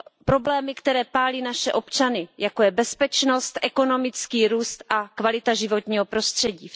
Problémy, které pálí naše občany, jako je bezpečnost, ekonomický růst a kvalita životního prostředí.